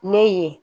Ne ye